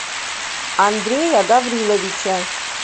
андрея гавриловича